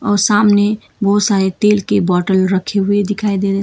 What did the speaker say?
और सामने बहुत सारे तेल की बॉटल रखे हुए दिखाई दे रहे।